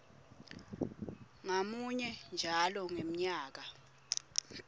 ngamunye njalo ngemnyaka